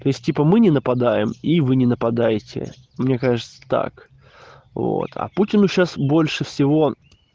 то есть типа мы не нападаем и вы не нападайте мне кажется так вот а путину сейчас больше всего